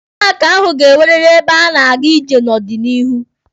Paaki ahụ ga-enweriri ebe a na-aga ije n'obịanihu.